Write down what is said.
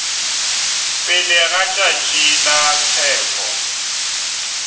pele ga tšatši la tsheko